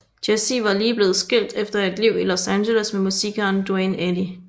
Jessi var lige blevet skilt efter et liv i Los Angeles med musikeren Duane Eddy